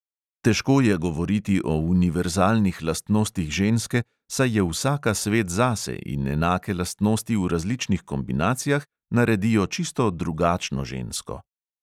Težko je govoriti o univerzalnih lastnostih ženske, saj je vsaka svet zase in enake lastnosti v različnih kombinacijah naredijo čisto drugačno žensko.